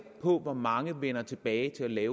på hvor mange der vender tilbage til at